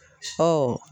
Ɔ